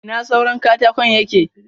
Ina suran katakon yake?